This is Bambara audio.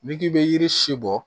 N'i k'i bɛ yiri si bɔ